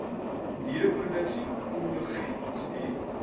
diereproduksie pomologie studie